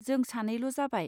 जों सानैल जाबाय.